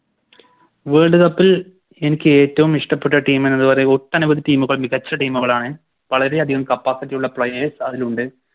Worlcup ൽ എനിക്കേറ്റോം ഇഷ്ട്ടപ്പെട്ട Team എന്ന് പറയുമ്പോൾ ഒട്ടനവധി Team കൾ മികച്ച Team കളാണ് വളരെയധികം Capacity യുള്ള Players അതിലുണ്ട്